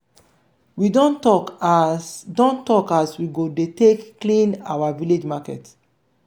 we don tok as don tok as we go take dey clean our village market.